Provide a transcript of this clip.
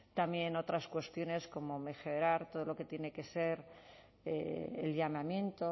también otras cuestiones como mejorar todo lo que tiene que ser el llamamiento